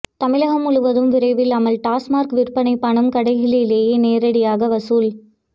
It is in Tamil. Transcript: தமிழகம் முழுவதும் விரைவில் அமல் டாஸ்மாக் விற்பனை பணம் கடைகளிலேயே நேரடியாக வசூல்